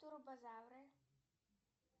турбозавры